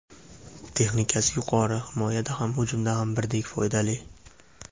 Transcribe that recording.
Texnikasi yuqori, himoyada ham, hujumda ham birdek foydali.